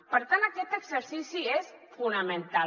per tant aquest exercici és fonamental